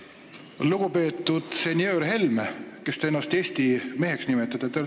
Lugupeetud senjöör Helme, kes te ennast eesti meheks nimetate!